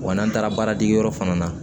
Wa n'an taara baaradegeyɔrɔ fana na